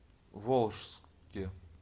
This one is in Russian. волжске